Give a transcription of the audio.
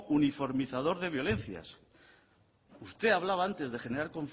uniformizador de violencias usted hablaba antes de generar